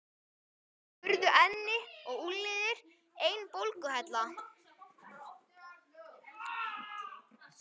Stundum urðu enni og úlnliðir ein bólguhella.